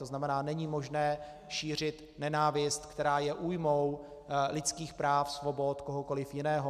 To znamená, není možné šířit nenávist, která je újmou lidských práv, svobod kohokoliv jiného.